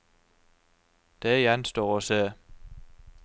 Det gjenstår å se.